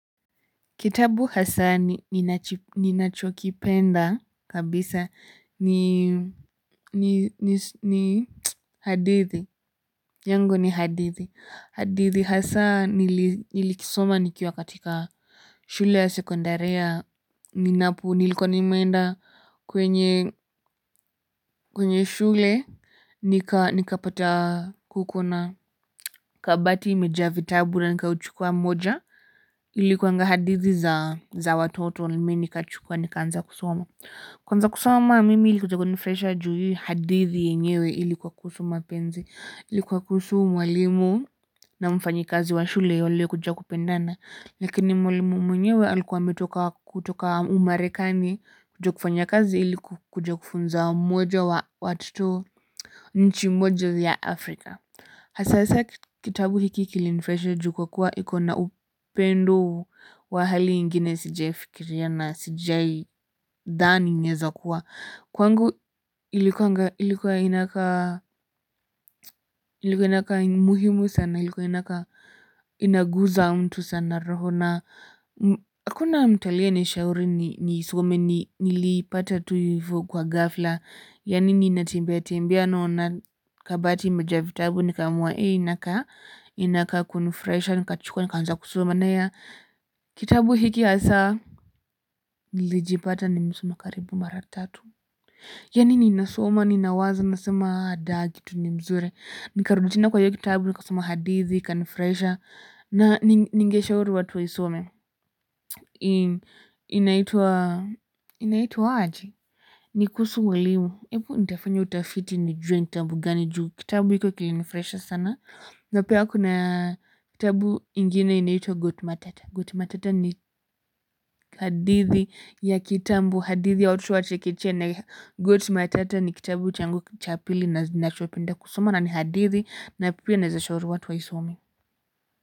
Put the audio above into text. Kitabu hasa ninachokipenda kabisa ni hadithi, yangu ni hadithi hadithi hasa nili nilikisoma nikiwa katika shule ya sekondari ninapo nilikuwa nime enda kwenye kwenye shule nikapata kukona kabati imejaa vitabu na nikauchukua moja ilikuanga hadithi za watoto mimi nikachukua nika anza kusoma kwanza kusoma mimi ilikuja kunifurahisha juu hii hadithi yenyewe ilikuwa kusu mapenzi ilikuwa kuhusu mwalimu na mfanyi kazi wa shule walio kuja kupendana lakini mwalimu mwenyewe alikuwa metoka kutoka umarekani kuja kufanya kazi iliku kuja kufunza mmoja wa watoto nchi moja ya Afrika. Hasaa kitabu hiki kilinifurahisha juu kwa kuwa ikona upendo wa hali ingine sijai fikiria na sijai dhani inaweza kuwa kwangu ilikuwa inakaa inakaa muhimu sana, ilikuwa inakaa inaguza mtu sana roho na hakuna mtu aliye nishauri ni some nilipata tu hivo kwa ghafla yaani ninatembea tembea naona kabati imejaa vitabu ni kaamua hii inakaa kunifurahisha nikachukua ni kaanza kusoma na kitabu hiki hasa nilijipata nimesoma karibu mara tatu yaani ninasoma ni nawaza nasema hii kitu ni mzuri ni karudi tena kwa hiyo kitabu nikasoma hadithi ikanifurahisha na ningeshauri watu waisome inaitwa inaitua aji. Nikuhusu walimu, hebu nitafanya utafiti nijue ni kitabu gani juu, kitabu hiko kilinu furahisha sana na pia kuna kitabu ingine inaitwa Goat matata, Goat matata ni hadithi ya kitambo, hadithi ya watoto chekechea na Goat matata ni kitabu changu cha pili nachopenda kusoma na ni hadithi na pia naweza shauri watu wa isome.